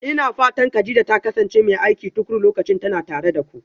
Ina fatan Kadija ta kasance mai aiki tuƙuru lokacin tana tare da ku?